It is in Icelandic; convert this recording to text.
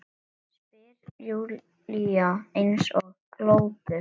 spyr Júlía eins og glópur.